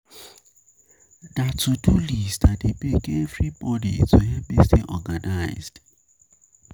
Na to-do list I dey make every morning to help me stay organized.